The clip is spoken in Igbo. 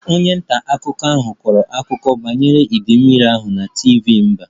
Onye nta akụkọ ahụ kọrọ akụkọ banyere idei mmiri ahụ na TV mba